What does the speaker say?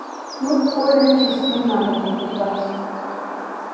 тут коля часы надо покупать